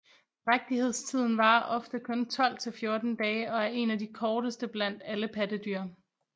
Drægtighedstiden varer ofte kun 12 til 14 dage og er en af de korteste blandt alle pattedyr